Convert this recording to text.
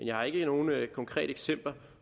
jeg har ikke nogen konkrete eksempler